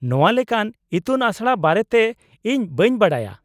-ᱱᱚᱶᱟ ᱞᱮᱠᱟᱱ ᱤᱛᱩᱱ ᱟᱥᱲᱟ ᱵᱟᱨᱮᱛᱮ ᱤᱧ ᱵᱟᱹᱧ ᱵᱟᱰᱟᱭᱟ ᱾